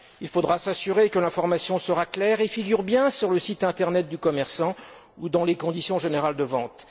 Il faudra s'assurer que l'information est claire et figure bien sur le site internet du commerçant ou dans les conditions générales de vente.